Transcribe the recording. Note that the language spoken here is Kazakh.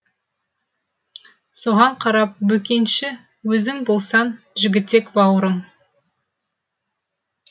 соған қарап бөкенші өзің болсаң жігітек бауырың